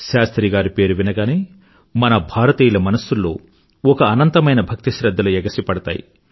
శాస్త్రి గారి పేరు వినగానే మన భారతీయుల మనసుల్లో ఒక అనంతమైన భక్తిశ్రధ్ధలు ఎగసిపడతాయి